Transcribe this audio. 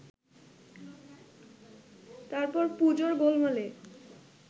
তারপর পুজোর গোলমালে